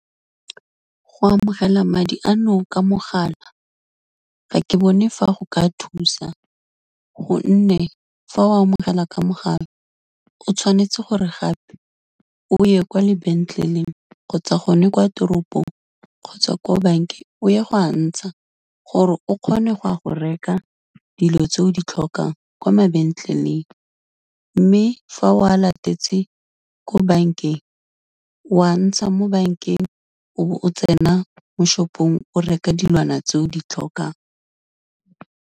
Go amogela madi ano ka mogala ga ke bone fa go ka thusa gonne, fa o amogela ka mogala o tshwanetse gore gape, o ye kwa lebetleleng kgotsa gone kwa teropong, kgotsa ko bankeng, o ya go a ntsha, gore o kgone go reka dilo tse o di tlhokang kwa mabentleleng, mme fa o a latetse ko bankeng, wa ntsha mo bankeng, o bo o tsena mo shop-ong o reka dilwana tse o di tlhokang.